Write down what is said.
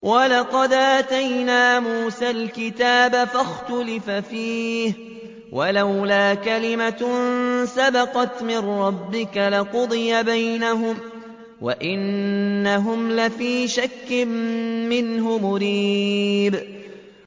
وَلَقَدْ آتَيْنَا مُوسَى الْكِتَابَ فَاخْتُلِفَ فِيهِ ۚ وَلَوْلَا كَلِمَةٌ سَبَقَتْ مِن رَّبِّكَ لَقُضِيَ بَيْنَهُمْ ۚ وَإِنَّهُمْ لَفِي شَكٍّ مِّنْهُ مُرِيبٍ